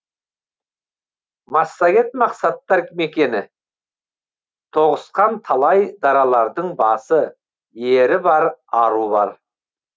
массагет мақсаттар мекені тоғысқан талай даралардың басы ері бар ару бар